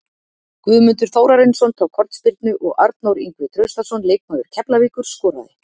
Guðmundur Þórarinsson tók hornspyrnu og Arnór Ingvi Traustason, leikmaður Keflavíkur, skoraði.